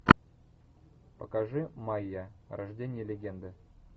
покажи майя рождение легенды